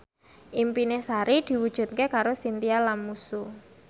impine Sari diwujudke karo Chintya Lamusu